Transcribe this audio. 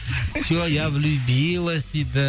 все я влюбилась дейді